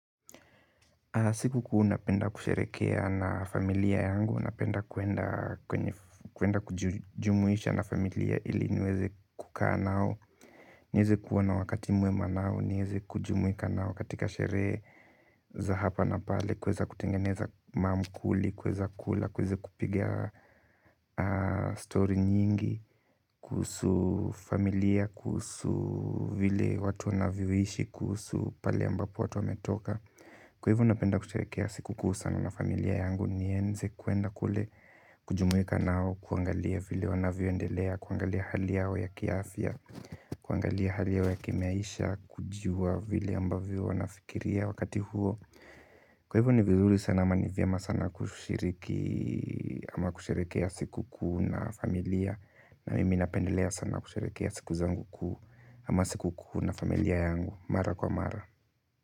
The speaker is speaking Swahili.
Sikukuu napenda kusherehekea na familia yangu, napenda kwenda kwenda kujumuisha na familia ili niweze kukaa nao. Niweze kuwa na wakati mwema nao, niweze kujumuika nao katika sherehe za hapa na pale, kuweza kutengeneza maakuli, kuweza kula, kuweze kupiga story nyingi, kuhusu familia, kuhusu vile watu wanavyoishi, kuhusu pale ambapo watu wametoka. Kwa hivo napenda kusherehekea sikukuu sana na familia yangu niweze kwenda kule kujumuika nao kuangalia vile wanavyoendelea, kuangalia hali yao ya kiafya, kuangalia hali yao ya kimaisha, kujua vile ambavyo wanafikiria wakati huo kwa hivyo ni vizuri sana ama ni vyema sana kushiriki ama kusherehekea sikukuu na familia. Na mimi napendelea sana kusherehekea siku zangu kuu ama siku kuu na familia yangu, mara kwa mara.